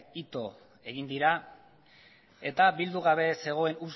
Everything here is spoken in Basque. ito egin dira eta bildu gabe zegoen